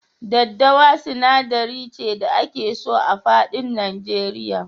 Daddawa sinadari ce da ake so a faɗin Nigeria.